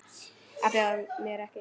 Að bjóða mér ekki.